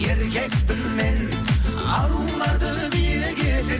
еркекпін мен аруларды биік етер